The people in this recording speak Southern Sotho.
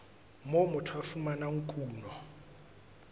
moo motho a fumanang kuno